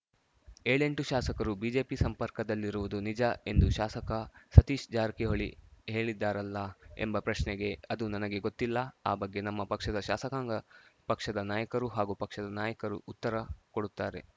ಏಳೆಂಟು ಶಾಸಕರು ಬಿಜೆಪಿ ಸಂಪರ್ಕದಲ್ಲಿರುವುದು ನಿಜ ಎಂದು ಶಾಸಕ ಸತೀಶ್‌ ಜಾರಕಿಹೊಳಿ ಹೇಳಿದ್ದಾರಲ್ಲಾ ಎಂಬ ಪ್ರಶ್ನೆಗೆ ಅದು ನನಗೆ ಗೊತ್ತಿಲ್ಲ ಆ ಬಗ್ಗೆ ನಮ್ಮ ಪಕ್ಷದ ಶಾಸಕಾಂಗ ಪಕ್ಷದ ನಾಯಕರು ಹಾಗೂ ಪಕ್ಷದ ನಾಯಕರು ಉತ್ತರ ಕೊಡುತ್ತಾರೆ